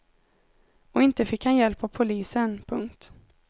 Och inte fick han hjälp av polisen. punkt